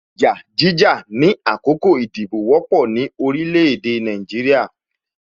Ìjà jíjà ni àkókò ìdìbò wọ́pọ̀ ni orílẹ̀ èdè Nàìjíríà